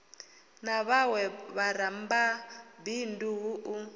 na vhawe vharamabindu hu u